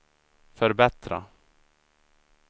förbättra